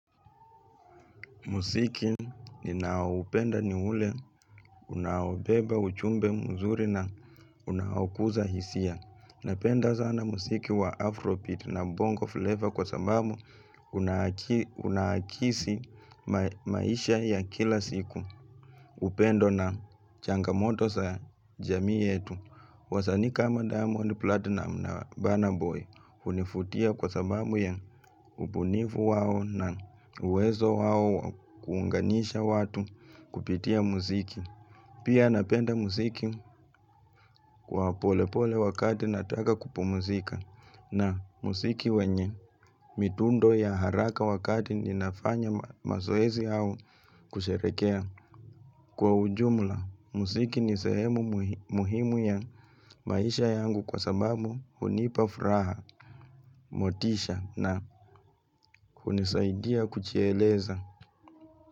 Musiki ni na upenda ni ule, unaobeba, ujumbe, mzuri na unahokuza hisia. Napenda sana musiki wa afro beat na bongo flavor kwa sababu unakisi maisha ya kila siku. Upendo na changamoto sa jamii yetu. Wasanii kama diamond platinum na banner boy hunifutia kwa sababu ya ubunifu wao na uwezo wao kuunganisha watu kupitia muziki. Pia napenda muziki wa pole pole wakati nataka kupu mzika na muziki wenye midundo ya haraka wakati ninafanya mazoezi au kusherehekea. Kwa ujumula, musiki ni sehemu muhimu ya maisha yangu kwa sababu hunipafraha, motisha na hunisaidia kujieleza.